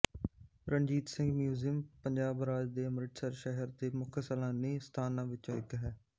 Ranjit Singh museum Punjab ਰਾਜ ਦੇ ਅੰਮ੍ਰਿਤਸਰ ਸ਼ਹਿਰ ਦੇ ਮੁੱਖ ਸੈਲਾਨੀ ਸਥਾਨਾਂ ਵਿੱਚੋਂ ਇੱਕ ਹੈ